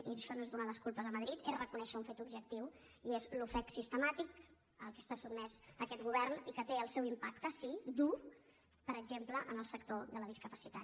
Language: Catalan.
i això no és donar les culpes a madrid és reconèixer un fet objectiu i és l’ofec sistemàtic a què està sotmès aquest govern i que té el seu impacte sí dur per exemple en el sector de la discapacitat